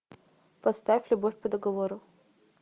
поставь любовь по договору